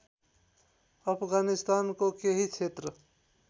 अफगानिस्तानको केही क्षेत्र